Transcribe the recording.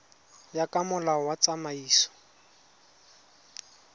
ya ka molao wa tsamaiso